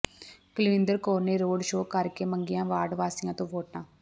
ਕੁਲਵਿੰਦਰ ਕੌਰ ਨੇ road show ਕਰ ਕੇ ਮੰਗੀਆਂ ਵਾਰਡ ਵਾਸੀਆਂ ਤੋਂ ਵੋਟਾਂ